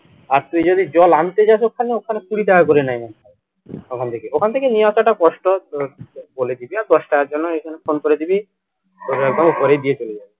আর তুই যদি জল আনতে যাস ওখানে ওখানে কুড়ি টাকা করে নেয় ওখান থেকে ওখান থেকে নিয়ে আসাটা কষ্ট ধর বলে দিবি আর দশ টাকার জন্য এইখানে phone করে দিবি তোকে একদম উপরেই দিয়ে চলে যাবে